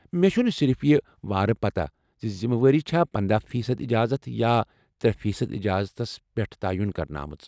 مےٚ چُھ نہٕ صرف یہ وارٕ پتہ زِ ذِمہٕ وٲری چھا پنَدہ فی صد اجازت یا ترے فی صد اجازتس پیٹھ تعین کرنہٕ آمٕژ